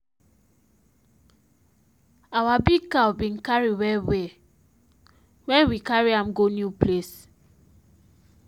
our big cow bin cary well well when we carry am go new place.